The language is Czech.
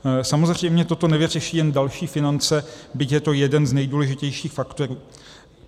Samozřejmě toto nevyřeší jen další finance, byť je to jeden z nejdůležitějších faktorů.